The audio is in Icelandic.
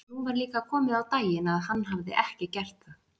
Nú var líka komið á daginn að hann hafði ekki gert það.